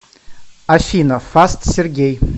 афина фаст сергей